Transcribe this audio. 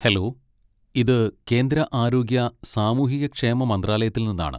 Hello, ഇത് കേന്ദ്ര ആരോഗ്യ സാമൂഹിക ക്ഷേമ മന്ത്രാലയത്തിൽ നിന്നാണ്.